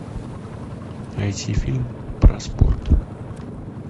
найти фильм про спорт